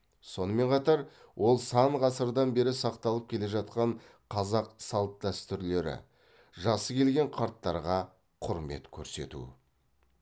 сонымен қатар ол сан ғасырлардан бері сақталып келе жатқан қазақ салт дәстүрлері жасы келген қарттарға құрмет көрсету